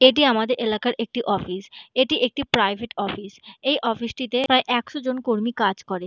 এটি আমাদের এলাকার একটি অফিস একটি প্রাইভেট অফিস এই অফিস -টিতে প্রায় একশোজন কর্মী কাজ করে।